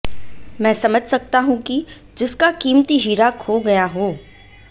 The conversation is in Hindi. मैं समझ सकता हूं कि जिसका कीमती हीरा खो गया हो